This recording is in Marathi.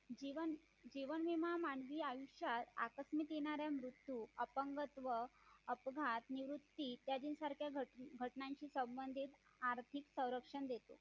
जीवन विमा मानवी आयुष्यात अकस्मित येणारा मृत्यू अपंगत्व अपघात निवृत्ती इत्यादी सारख्या घटनांची संबंधित आर्थिक संरक्षण देतो